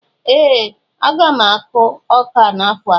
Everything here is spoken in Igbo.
Ee! Aga m akụ ọka n'afọ a.